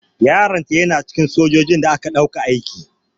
Yaron ta yana cikin sojojin da aka ɗauka aiki.